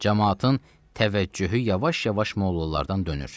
Camaatın təvəccühü yavaş-yavaş mollalardan dönür.